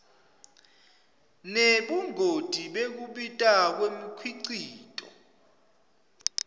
nebungoti bekubita kwemikhicito